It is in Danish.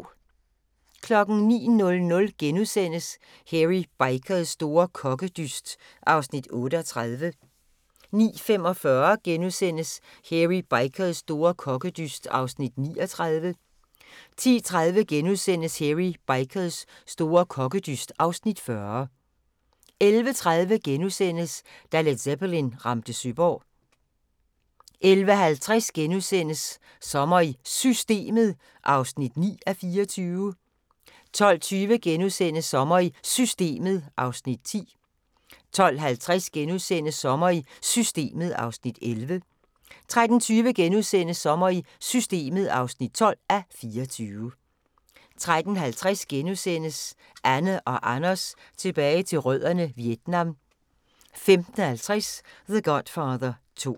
09:00: Hairy Bikers store kokkedyst (Afs. 38)* 09:45: Hairy Bikers store kokkedyst (Afs. 39)* 10:30: Hairy Bikers store kokkedyst (Afs. 40)* 11:30: Da Led Zeppelin ramte Søborg * 11:50: Sommer i Systemet (9:24)* 12:20: Sommer i Systemet (10:24)* 12:50: Sommer i Systemet (11:24)* 13:20: Sommer i Systemet (12:24)* 13:50: Anne & Anders tilbage til rødderne: Vietnam * 15:50: The Godfather 2